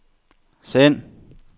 send